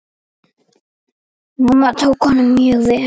Mamma tók honum mjög vel.